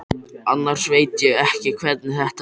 Annars veit ég ekki hvernig þetta verður.